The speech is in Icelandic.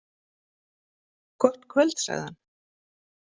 Gott kvöld, sagði hann.